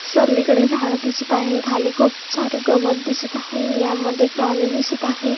सर्वीकडे झाड दिसत आहे खाली खूप सारे गवत दिसत आहे यामध्ये प्राणी दिसत आहे.